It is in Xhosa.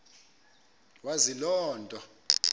wazi loo nto